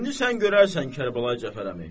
İndi sən görərsən, Kərbəlayi Cəfər əmi.